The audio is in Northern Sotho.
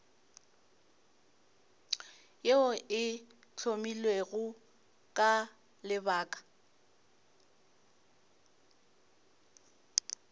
yeo e hlomilwego ka lebaka